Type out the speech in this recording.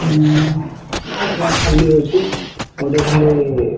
ଉଁ ଆର ଟ୍ରାକ ଖାଲି ଅଛେ ଆଉ ଗୋଟେ ଖାଲି--